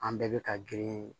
An bɛɛ bɛ ka girin